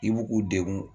I b'u u degun